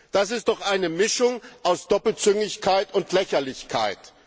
Das ist doch eine Mischung aus Doppelzüngigkeit und Lächerlichkeit.